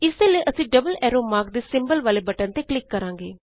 ਇਸਦੇ ਲਈ ਅਸੀਂ ਡਬਲ ਐਰੋ ਮਾਰਕ ਦੇ ਸਿੰਬਲ ਵਾਲੇ ਬਟਨ ਤੇ ਕਲਿਕ ਕਰਾਂਗੇ